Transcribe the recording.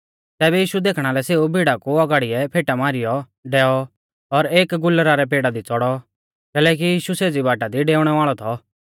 तैबै यीशु देखणा लै सेऊ भीड़ा कु औगाड़िऐ फेटा मारीयौ डैऔ और एक गुलरा रै पेड़ा दी च़ौड़ौ कैलैकि यीशु सेज़ी बाटा दी डेउणै वाल़ौ थौ